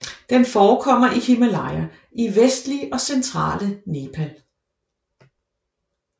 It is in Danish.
Den forekommer i Himalaya i vestlige og centrale Nepal